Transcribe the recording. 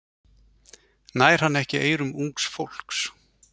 Nær hann ekki eyrum ungs fólks?